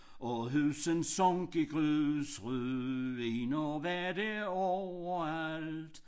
Og huset sank i grus ruiner var der overalt